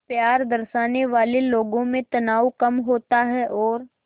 प्यार दर्शाने वाले लोगों में तनाव कम होता है और